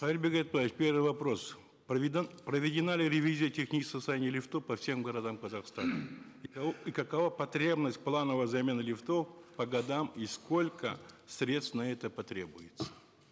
кайырбек айтбаевич первый вопрос проведена ли ревизия технического состояния лифтов по всем городам казахстана и какова потребность плановой замены лифтов по годам и сколько средств на это потребуется